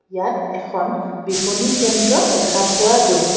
ইয়াত এখন বিপনী কেন্দ্ৰ দেখা পোৱা গৈছে.